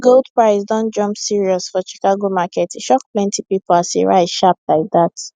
gold price don jump serious for chicago market e shock plenty people as e rise sharp like that